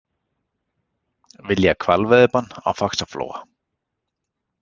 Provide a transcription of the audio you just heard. Vilja hvalveiðibann á Faxaflóa